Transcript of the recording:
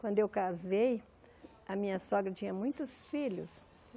Quando eu casei, a minha sogra tinha muitos filhos.